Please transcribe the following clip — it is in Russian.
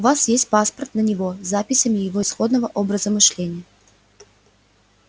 у вас есть паспорт на него с записями его исходного образа мышления